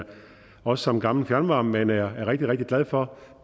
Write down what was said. også som gammel fjernvarmemand er rigtig rigtig glad for